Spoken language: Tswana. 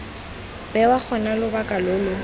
bewa gona lobaka lo lo